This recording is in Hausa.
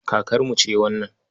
Kakarmu ce wannan.